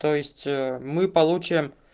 то есть мы получим